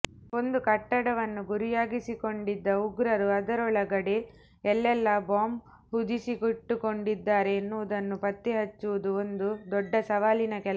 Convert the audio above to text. ಒಂದು ಕಟ್ಟಡವನ್ನು ಗುರಿಯಾಗಿಸಿಕೊಂಡಿದ್ದ ಉಗ್ರರು ಅದರೊಳಗಡೆ ಎಲ್ಲೆಲ್ಲಾ ಬಾಂಬ್ ಹುದುಗಿಸಿಟ್ಟುಕೊಂಡಿದ್ದಾರೆ ಎನ್ನುವುದನ್ನು ಪತ್ತೆಹಚ್ಚುವುದು ಒಂದು ದೊಡ್ಡ ಸವಾಲಿನ ಕೆಲಸ